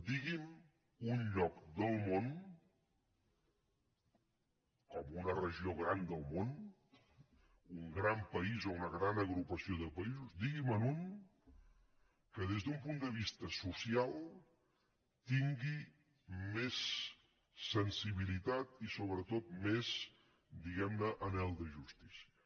digui’m un lloc del món com una regió gran del món un gran país o una gran agrupació de països diguime’n un que des d’un punt de vista social tingui més sensibilitat i sobretot més diguemne anhel de justícia